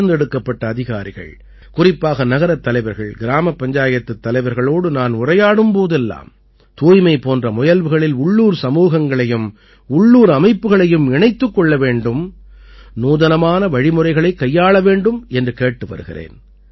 தேர்ந்தெடுக்கப்பட்ட அதிகாரிகள் குறிப்பாக நகரத் தலைவர்கள் கிராமப் பஞ்சாயத்துத் தலைவர்களோடு நான் உரையாடும் போதெல்லாம் தூய்மை போன்ற முயல்வுகளில் உள்ளூர் சமூகங்களையும் உள்ளூர் அமைப்புக்களையும் இணைத்துக் கொள்ள வேண்டும் நூதனமான வழிமுறைகளைக் கையாள வேண்டும் என்று கேட்டு வருகிறேன்